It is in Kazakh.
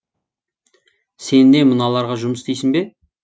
сен не мыналарға жұмыс істейсің бе